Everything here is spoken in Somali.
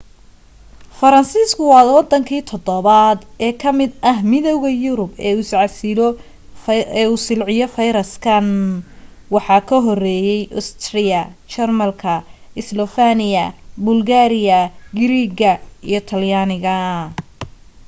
faransiiska waa waddanki toddobaad ee ka mid ah midowga yurub ee uu silciyo fayraskan waxaa ka horeeyay ostiriya jarmalka islofeniya bulgariya giriirga iyo talyaaniga